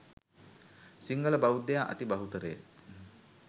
සිංහල බෞද්ධයා අති බහුතරය